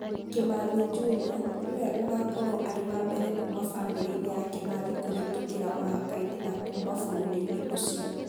Kimathi Junior, nĩwe ũgaakorũo arĩ wa mbere kuuma famĩlĩ-inĩ ya Kimathi kũvĩtũkĩra mũvaka-inĩ na kũũma vũrũrini ũcio.